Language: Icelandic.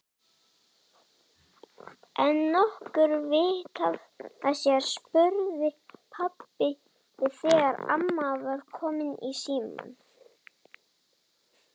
Er nokkurt vit í þessu? spurði pabbi þegar amma var komin í símann.